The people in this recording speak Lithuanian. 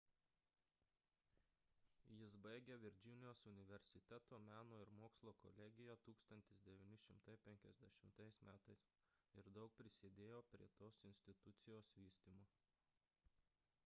jis baigė virdžinijos universiteto meno ir mokslo kolegiją 1950 m ir daug prisidėjo prie tos institucijos vystymo